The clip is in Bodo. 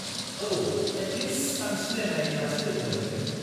औ, एटलिस्ट आं सिनायनाय मानसि लोगो मोनहैगोन।